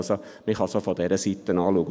Man kann es auch von dieser Seite anschauen.